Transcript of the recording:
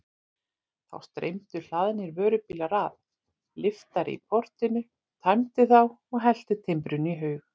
Þá streymdu hlaðnir vörubílar að, lyftari í portinu tæmdi þá og hellti timbrinu í haug.